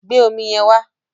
Gbé omi yẹn wá!